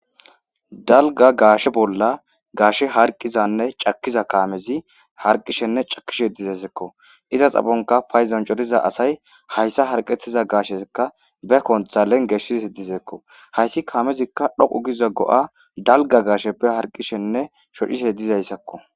dalga gaashe bolla gaashe harqizanne cakiza kaamezi harqishenne cakishe dizeseekko iza xabonka payzancoriza asay hayssa harqetiza gaashekka be kontha lengeshis dizeekko hayssi kaamezikka dhoqu giza go7a dalga gaasheppe harqishenne shochishe dizayssakko